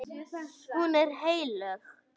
Hún er heilög.